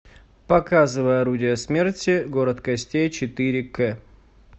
показывай орудие смерти город костей четыре к